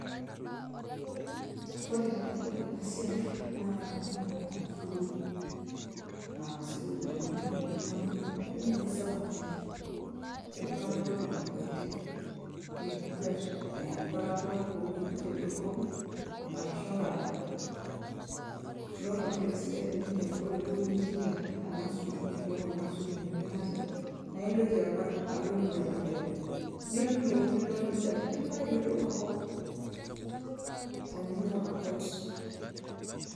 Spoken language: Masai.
ore tenadol ena siai naa kaitadamu apa sukul eh sukul ena e primary arashu ninye secondary enkuatata apa nakweti nikikwet enkuatata owuejitin dorropu arashu inkadorr nore apa entoki sidai teninye naa ore duo pinchinda ena sukul ashu kuna sukuluni elatia naa intoki akwa alo nekua edukuya niilo nilo nijia nilo ayiolou enkop teninyok akwet.